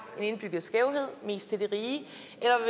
den indbyggede skævhed mest til de rige